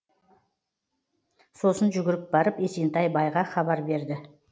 сосын жүгіріп барып есентай байға хабар берді